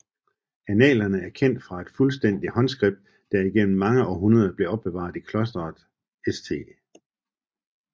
Annalerne er kendt fra et fuldstændigt håndskript der igennem mange århundreder blev opbevaret i klosteret St